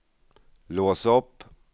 lås upp